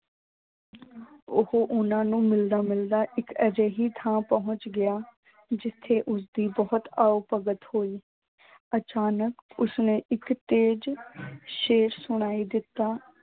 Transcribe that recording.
ਉਹ ਉਹਨਾਂ ਨੂੰ ਮਿਲਦਾ ਮਿਲਦਾ ਇੱਕ ਅਜਿਹੀ ਥਾਂਂ ਪਹੁੰਚ ਗਿਆ ਜਿੱਥੇ ਉਸਦੀ ਬਹੁਤ ਆਓ ਭਗਤ ਹੋਈ ਅਚਾਨਕ ਉਸਨੇ ਇੱਕ ਤੇਜ ਸ਼ੇਰ ਸੁਣਾਈ ਦਿੱਤਾ।